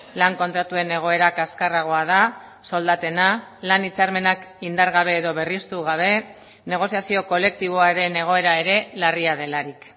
lan kontratuen egoera kaskarragoa da soldatena lan hitzarmenak indargabe edo berristu gabe negoziazio kolektiboaren egoera ere larria delarik